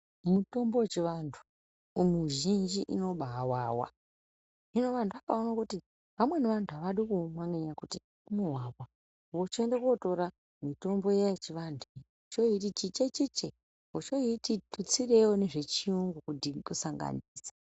Mitombo yechivanthu mizhinji inobawawa hino vanthu vakaona kuti vamweni vanthu avadi kuumwa nekuti unowawa vochoenda kotora mitombo yechianthu vochoiti chiche chiche vochoitio tutsireiwo nezvechiyungu kusanganisa.